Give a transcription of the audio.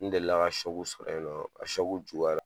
N delila ka sɔrɔ yen nɔ a juguyara